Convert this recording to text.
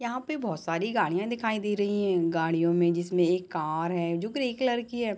यहाँ पे बहुत सारी गाड़िया दिखाई दे रही है गाड़ियों मे जिसमे एक कार है जो ग्रे कलर की है।